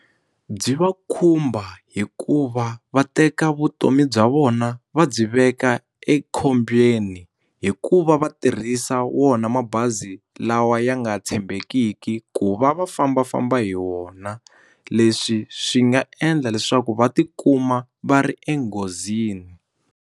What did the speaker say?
Byi va khumba hikuva va teka vutomi bya vona va byi veka ekhombyeni hikuva va tirhisa wona mabazi lawa ya nga tshembekiki ku va va fambafamba hi wona leswi swi nga endla leswaku va tikuma va ri enghozini.